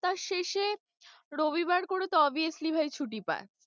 সপ্তাহের শেষে রবিবার করে তো obviously ভাই ছুটি পায়।